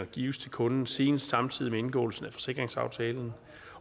gives til kunden senest samtidig med indgåelsen af forsikringsaftalen